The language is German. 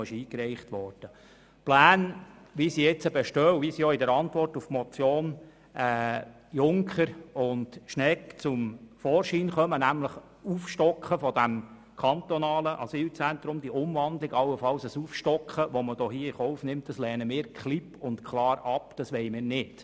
Die bestehenden Pläne, wie sie auch in der Antwort auf die Motion Junker und Schnegg dargelegt werden, nämlich das Aufstocken des kantonalen Asylzentrums, lehnen wir klipp und klar ab, das wollen wir nicht.